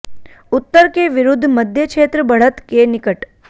उत्तर के विरुद्ध मध्य क्षेत्र बढ़त के निकट